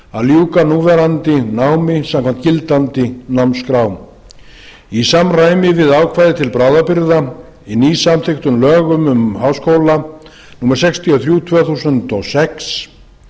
að ljúka núverandi námi samkvæmt gildandi námskrám í samræmi við ákvæði til bráðabirgða í nýsamþykktum lögum um háskóla númer sextíu og þrjú tvö þúsund og sex